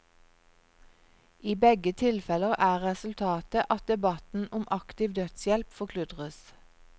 I begge tilfeller er resultatet at debatten om aktiv dødshjelp forkludres.